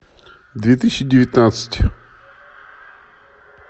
две тысячи девятнадцать